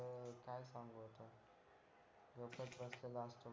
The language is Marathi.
लय खर्च लागतो